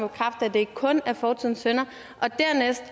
det ikke kun er fortidens synder og dernæst